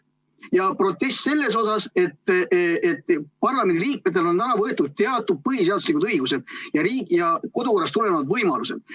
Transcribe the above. Ja protest selle vastu, et parlamendiliikmetelt on ära võetud teatud põhiseaduslikud õigused ja kodukorrast tulenevad võimalused.